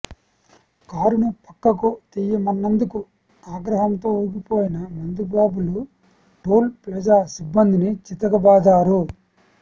కారును పక్కకు తీయమన్నందుకు ఆగ్రహంతో ఊగిపోయిన మందుబాబులు టోల్ ప్లాజా సిబ్బందిని చితకబాదారు